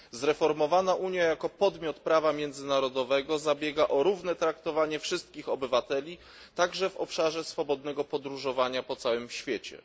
Zreformowana Unia jako podmiot prawa międzynarodowego zabiega o równe traktowanie wszystkich obywateli, także w obszarze swobodnego podróżowania po całym świecie.